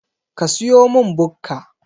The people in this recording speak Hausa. Ka siyomin Bukka